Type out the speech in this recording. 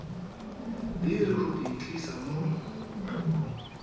deri go di tlisa mo